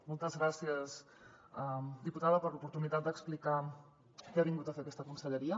moltes gràcies diputada per l’oportunitat d’explicar què ha vingut a fer aquesta conselleria